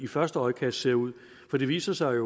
første øjekast ser ud for det viser sig